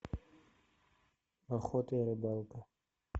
охота и рыбалка